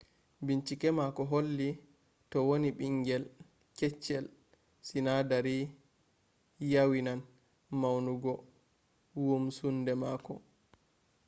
bincike mako holli to wonni bingel kettchel sinadari yawinan maunugo wumsunde mako